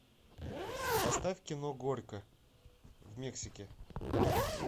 поставь кино горько в мексике